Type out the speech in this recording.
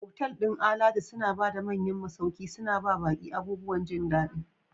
Otal ɗin alatu suna ba da manyan masauki, suna ba baƙi abubuwan jin daɗiI.